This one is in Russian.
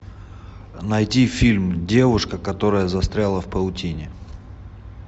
найти фильм девушка которая застряла в паутине